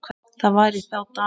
Það var í þá daga!